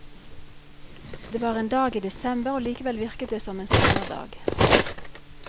Det var en dag i desember og likevel virket det som en sommerdag.